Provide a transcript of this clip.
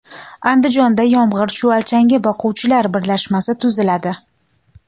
Andijonda yomg‘ir chuvalchangi boquvchilar birlashmasi tuziladi.